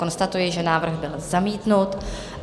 Konstatuji, že návrh byl zamítnut.